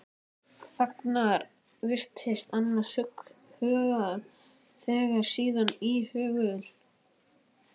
Þagnar, virðist annars hugar, segir síðan íhugul